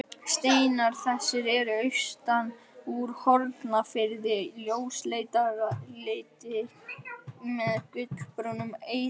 Steinar þessir eru austan úr Hornafirði, ljósleitir með gulbrúnum eitlum.